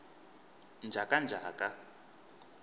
njhakanjhaka